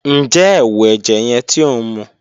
Njẹ ẹwu ẹjẹ yẹn ti o nmu?